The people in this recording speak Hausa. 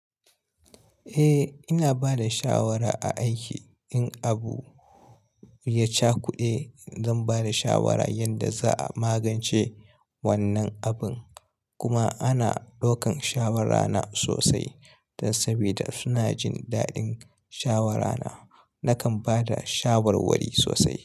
Eh ina bada shawara a aiki in abu ya cakude zan bada shawara yanda za'a magance wannan abin. Kuma ana ɗaukan shawara na sosai dan sabida suna jin daɗin shawara na. Nakan bada shawarwari sosai.